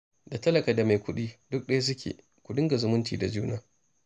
Da talaka da mai kuɗi duk ɗaya suke fa, ku dinga zumunci da juna